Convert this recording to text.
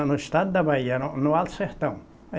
É, no estado da Bahia, no no Alto Sertão.